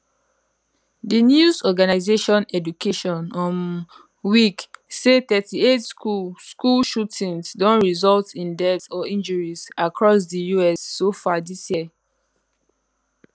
di news organisation education um week say 38 school school shootings don result in deaths or injuries across di us so far dis year